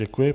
Děkuji.